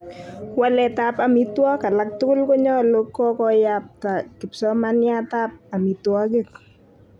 Waletap amitwogik alak tugul konyolu kokoyap kipsomaniatap amitwogik.